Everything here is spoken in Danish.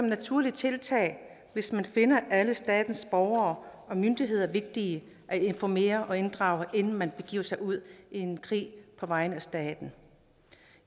naturligt tiltag hvis man finder alle statens borgere og myndigheder vigtige at informere og inddrage inden man begiver sig ud i en krig på vegne af staten